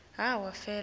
feleba